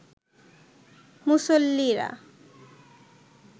মুসল্লিরা